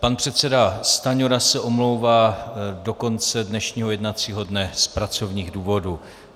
Pan předseda Stanjura se omlouvá do konce dnešního jednacího dne z pracovních důvodů.